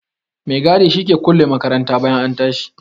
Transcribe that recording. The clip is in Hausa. Maigadi shi ke kulle makaranta bayan an tashi.